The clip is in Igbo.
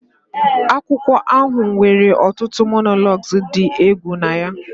Akwụkwọ akụkọ ahụ nwere ọtụtụ monologues dị egwu na ya